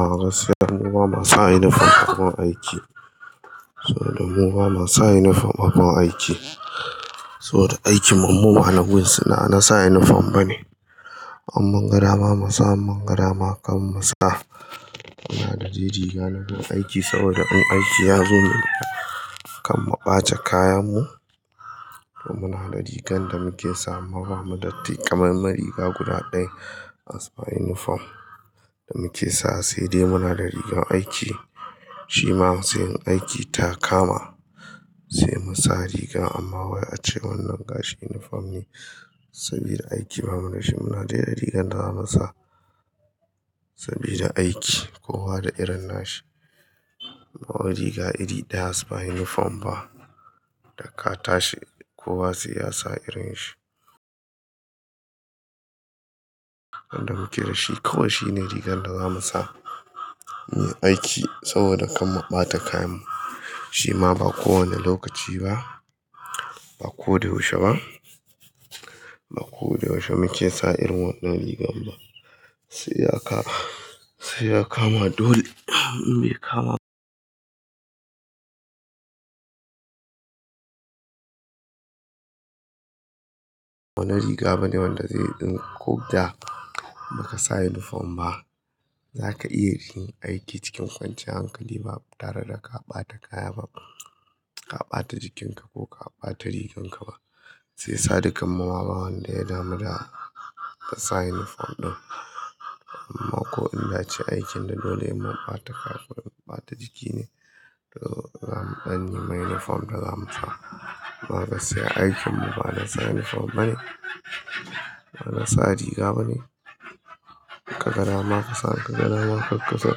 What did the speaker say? A'a gaskiyai mu ba ma sa uniform a gun aiki. Saboda mu ba ma sa uniform a gun aiki. Saboda aikin mu, mu anan gun ba na sa uniform bane. In mun ga dama malu sa, in mun ga dama kar mu sa. Muna da dai rigar aiki saboda in aiki ya zo kar mu ɓata kayan mu. To muna da rigar da muke sawa, amma ba mu da taikamemar riga guda ɗaya as par uniform da muke sa. Sai dai muna da rigar aiki. Shi ma sai in aiki ta kama sai mu sa rigar. Amma wai ace wannan gashi uniform ne sabida aiki ba mu dashi. Muna dai da rigar da za mu sa sabida aiki. Kowa da irin nashi. Ba wai riga iri ɗaya as par uniform ba, da ka tashi kowa sai ya sa irin shi. Wanda muke da shi kawai shine rigar da za mu sa muyi aiki saboda kar mu ɓata kayan mu. Shi ma ba kowane lokaci ba, ba ko da yaushe ba. Ba ko da yaushe muke sa irin wannan rigar ba. Sai ya kama dole in bai kama dole ba, ba wani riga bane wanda zai. In ko da ba ka sa uniform ba zaka iya yin aiki cikin kwanciyar hankali ba tare da ka ɓata kaya ba. Ka ɓata jikin ka ko ka ɓata rigan ka ba. Shi yasa dukkan mu ma ba wanda ya damu da ka sa uniform ɗin. Ko in ya ci aikin da dole sai mun ɓata kaya ko ɓata jiki ne, to za mu ɗan nema uniform da za mu sa. Ba gaskiya aikin mu ba na sa uniform bane. Bana sa riga bane. Ka ga dama ka sa, ka ga dama karka sa.